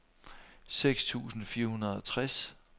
seks tusind fire hundrede og tres